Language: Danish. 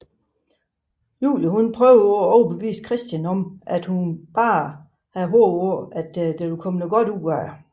Julie prøver at overbevise Christian om at hun blot havde håbet at der ville komme noget godt ud af det